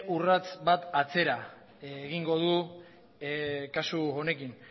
urrats bat atzera egingo du kasu honekin